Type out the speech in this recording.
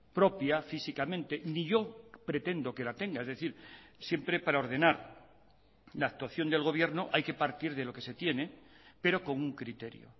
propia físicamente ni yo pretendo que la tenga es decir siempre para ordenar la actuación del gobierno hay que partir de lo que se tiene pero con un criterio